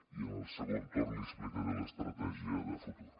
i en el segon torn li explicaré l’estratègia de futur